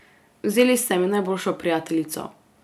Vzeli ste mi najboljšo prijateljico.